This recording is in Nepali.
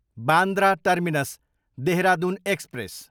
Bandra Terminus, Dehradun express